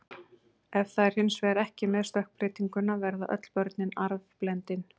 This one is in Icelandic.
Ef það er hins vegar ekki með stökkbreytinguna verða öll börnin arfblendin.